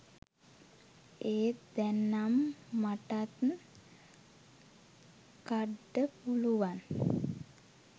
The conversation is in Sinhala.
එත් දැන් නම් මටත් කඩ්ඩ පුළුවන්